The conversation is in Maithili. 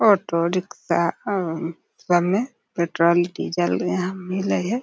ऑटो रिक्शा अअ सब में पेट्रोल डीजल यहां मिले हय।